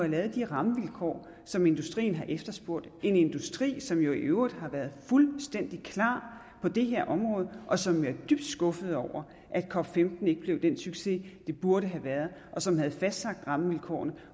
lavet de rammevilkår som industrien har efterspurgt en industri som jo i øvrigt har været fuldstændig klar på det her område og som er dybt skuffet over at cop15 ikke blev den succes det burde have været og som havde fastlagt rammevilkårene